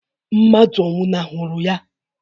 Mmadụ ọ nwụnahụrụ ya?